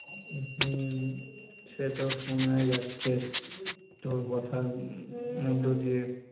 হম সেতো শোনাই যাচ্ছে তোর কথার মধ্য দিয়ে.